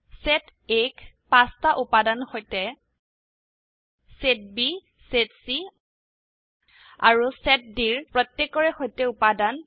set A ক ৫টা উপাদানৰ সৈতে সেট B সেট C আৰু সেট Dৰ প্ৰত্যেককৰে সৈতে উপাদান